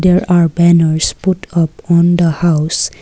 there are banners put up on the house.